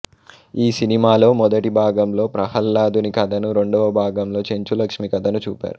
ఈ సినిమాలో మొదటి భాగంలో ప్రహ్లాదుని కథను రెండవ భాగంలో చెంచులక్ష్మి కథను చూపారు